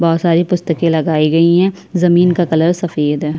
बहुत सारी पुस्तकें लगाई गई है जमीन का कलर सफेद हैं।